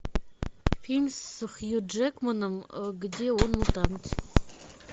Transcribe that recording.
фильм с хью джекманом где он мутант